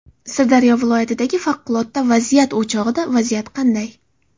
Sirdaryo viloyatidagi favqulodda vaziyat o‘chog‘ida vaziyat qanday?